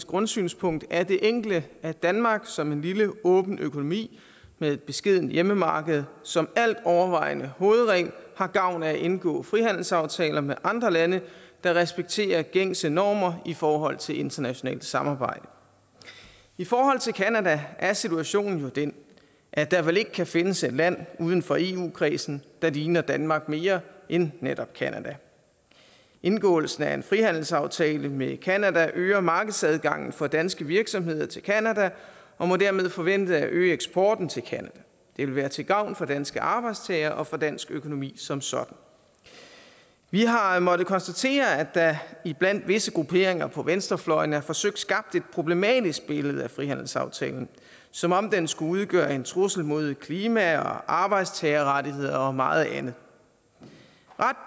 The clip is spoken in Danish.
grundsynspunkt er det enkle at danmark som en lille åben økonomi med et beskedent hjemmemarked som altovervejende hovedregel har gavn af at indgå frihandelsaftaler med andre lande der respekterer gængse normer i forhold til internationalt samarbejde i forhold til canada er situationen jo den at der vel ikke kan findes et land uden for eu kredsen der ligner danmark mere end netop canada indgåelsen af en frihandelsaftale med canada øger markedsadgangen for danske virksomheder til canada og må dermed forvente at øge eksporten til canada det vil være til gavn for danske arbejdstagere og for dansk økonomi som sådan vi har har måttet konstatere at der iblandt visse grupperinger på venstrefløjen er forsøgt skabt et problematisk billede af frihandelsaftalen som om den skulle udgøre en trussel mod klima arbejdstagerrettigheder og meget andet